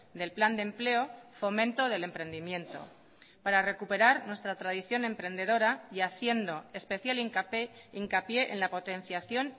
del plan de empleo fomento del emprendimiento para recuperar nuestra tradición emprendedora y haciendo especial hincapié en la potenciación